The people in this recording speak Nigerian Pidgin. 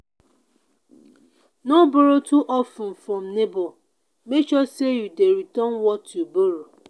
no borrow too of ten from neighbor make sure say you dey return what you borrow.